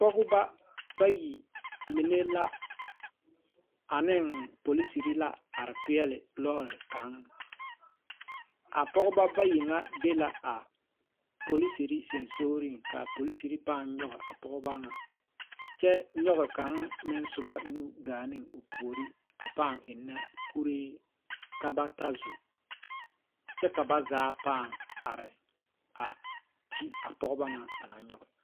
Pɔgebɔ bayi mine la aneŋ poliserre la are peɛɛle lɔɔre kaŋ a pɔgeba bayi ŋa e la a poliserre seŋsugliŋ kaa poliserre pãã nyoge a pɔɔba ŋa kyɛ nyoge kaŋ meŋ soba nu gaa neŋ o puore a pãã eŋnɛ kuree ka ba ta zo kyɛ ka ba zaa pãã are a te a pɔgeba ŋa ba naŋ nyoge.